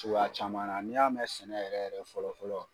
cogoya caman na n'i y'a mɛn sɛnɛ yɛrɛ yɛrɛ fɔlɔ fɔlɔ.